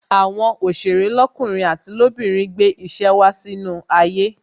Àwọn òsèré lọkunrin àti lobinrin gbé ìṣe wá sínú ayé